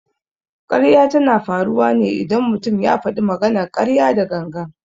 Ƙarya tana faruwa ne idan mutum ya faɗi maganar ƙarya da gangan.